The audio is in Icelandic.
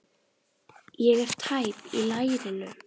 Ég er tæp í lærinu.